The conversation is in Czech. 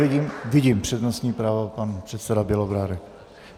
Vidím přednostní právo, pan předseda Bělobrádek.